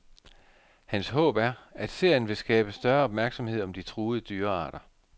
Hans håb er, at serien vil skabe større opmærksomhed om de truede dyrearter.